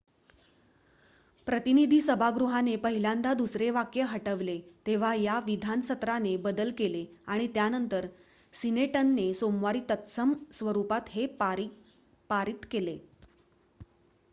प्रतिनिधी सभागृहाने पहिल्यांदा दुसरे वाक्य हटवले तेव्हा या विधान सत्राने बदल केले आणि त्यानंतर सिनेटने सोमवारी तत्सम स्वरुपात हे पारित केले